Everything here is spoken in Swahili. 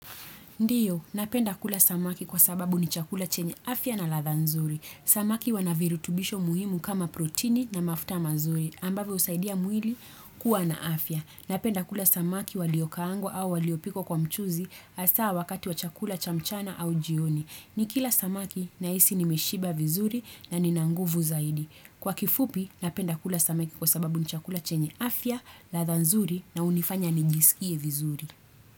Ndiyo, napenda kula samaki kwa sababu ni chakula chenye afya na ladha nzuri. Samaki wanavirutubisho muhimu kama protini na mafuta mazuri, ambave usaidia muhili kuwa na afya. Napenda kula samaki waliokaango au waliopiko kwa mchuzi asaa wakati wa chakula chamchana au jioni. Ni kila samaki na isi ni meshiba vizuri na ni nanguvu zaidi. Kwa kifupi, napenda kula samaki kwa sababu ni chakula chenye afya, ladha nzuri na unifanya nijisikie vizuri.